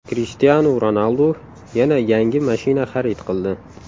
Krishtianu Ronaldu yana yangi mashina xarid qildi.